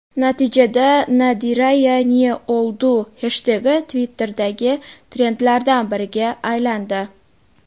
Natijada #NadirayaNeOldu heshtegi Twitter’dagi trendlardan biriga aylandi.